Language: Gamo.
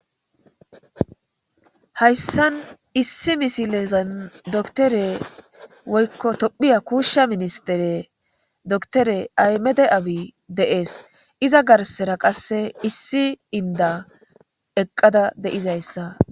hayssan issi misilezan doktore woykko tophiya kuushsha ministere doktore aymede abi de'ees iza garsera qasse issi inda eqqada de'izayssa